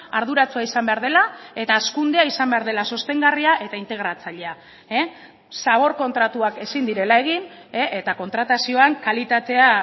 arduratsua izan behar dela eta hazkundea izan behar dela sostengarria eta integratzailea zabor kontratuak ezin direla egin eta kontratazioan kalitatea